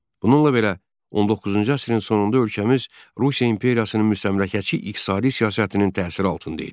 Bununla belə 19-cu əsrin sonunda ölkəmiz Rusiya imperiyasının müstəmləkəçi iqtisadi siyasətinin təsiri altında idi.